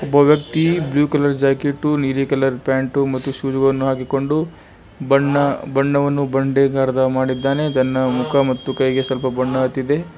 ಒಬ್ಬ ವ್ಯಕ್ತಿ blue colour jacket ನೀಲಿ ಕಲರ್ ಪ್ಯಾಂಟು ಮತ್ತು ಶೂಸ್ ಹಾಕೊಂಡು ಬಣ್ಣ ಬಣ್ಣವನು ಬಂಡೆ ಕಲರ್ ತನ್ನ ಮುಖ ಮತ್ತು ಕೈಗೆ ಸ್ವಲ್ಪ ಬಣ್ಣ ಹತ್ತಿದೆ.